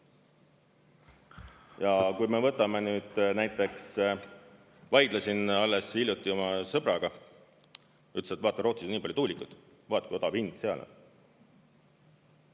Ja kui me võtame nüüd näiteks, vaidlesin alles hiljuti oma sõbraga, ütles, et vaata, Rootsis on nii palju tuulikuid, vaata kui odav hind seal on.